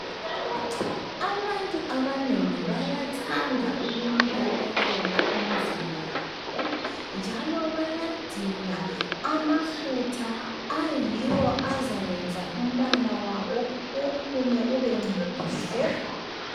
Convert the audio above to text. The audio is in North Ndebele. Abantu abanengi bayathanda ukunakakela imizimba yabo njalo bayadinga amafutha ayiwo azayenza umbala wabo uphume ube muhle.